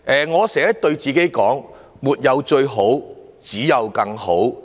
我經常對自己說，"沒有最好，只有更好"。